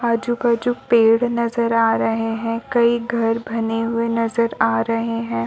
आजु -बाजु पेड़ नजर आ रहे है कई घर बने हुए नजर आ रहे हैं |